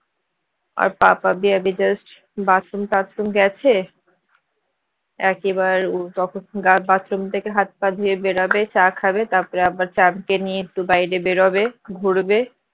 just bathroom তাথরুম গেছে একেবারে বাথরুম থেকে গা হাত পা ধুয়ে বেরোবে চা খাবে তারপর আবার চ্যাম্প কে নিয়ে একটু বাইরে বেরোবে ঘুরবে